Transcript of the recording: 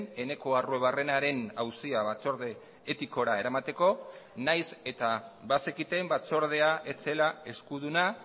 eneko arruebarrenaren auzia batzorde etikora eramateko nahiz eta bazekiten batzordea ez zela eskuduna